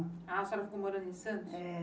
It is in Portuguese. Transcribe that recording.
A senhora ficou morando em Santos? É